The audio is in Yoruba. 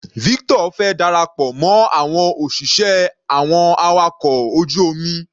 Victor fẹ́ darapọ̀ mọ́ àwọn òṣìṣẹ́ àwọn awakọ̀ ojú omi.